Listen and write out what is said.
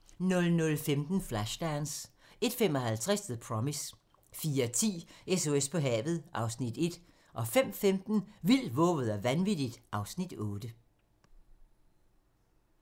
00:15: Flashdance 01:55: The Promise 04:10: SOS på havet (Afs. 1) 05:15: Vildt, vovet og vanvittigt (Afs. 8)